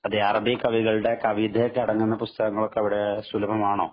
അതേ അറബി കവികളുടെ കവിതയൊക്കെ അടങ്ങുന്ന പുസ്തകങ്ങള്‍ ഒക്കെ അവിടെ സുലഭമാണോ?